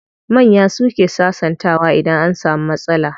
Manya suke sasantawa idan an samu matsala.